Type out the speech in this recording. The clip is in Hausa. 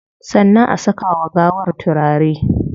Sannan a saka wa gawar turare